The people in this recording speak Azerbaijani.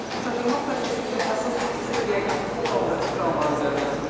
Yük aşırıma prosesində əsas yükü isə yəqin ki, bu qaldırıcı kranların üzərinə düşür.